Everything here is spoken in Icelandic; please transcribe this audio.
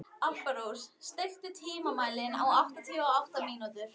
Alparós, stilltu tímamælinn á áttatíu og átta mínútur.